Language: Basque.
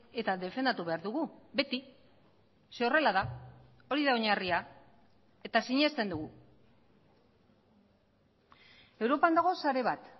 eta defendatu behar dugu beti ze horrela da hori da oinarria eta sinesten dugu europan dago sare bat